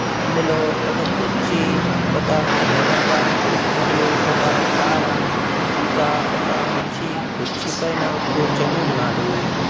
అందులో ఒక కుర్చీ ఒక నీళ్ల డబ్బా మరియు ఒక పార ఇంకా ఒక మనిషి కుర్చీ పైన కూర్చొని ఉన్నాడు.